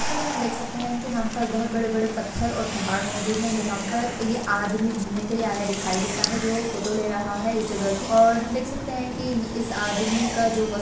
picture में हम देख सकते है की यहां पे बड़े बड़े पत्थर और पहाड़ मोजूद है जहां पर ये आदमी घुमने के लिए आया दिखाई देता है जो फोटो ले रहा है इस जगह की और हम देख सकते है इस आदमी का जो--